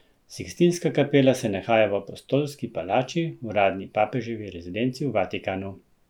Sikstinska kapela se nahaja v Apostolski palači, uradni papeževi rezidenci v Vatikanu.